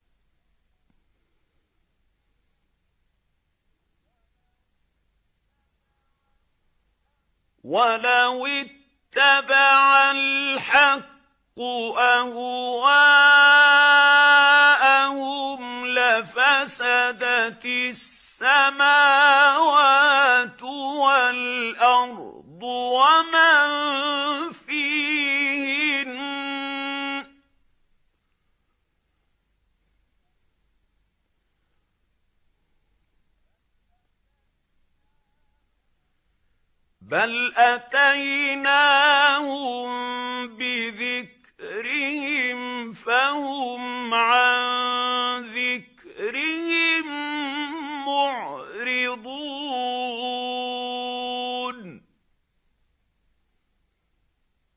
وَلَوِ اتَّبَعَ الْحَقُّ أَهْوَاءَهُمْ لَفَسَدَتِ السَّمَاوَاتُ وَالْأَرْضُ وَمَن فِيهِنَّ ۚ بَلْ أَتَيْنَاهُم بِذِكْرِهِمْ فَهُمْ عَن ذِكْرِهِم مُّعْرِضُونَ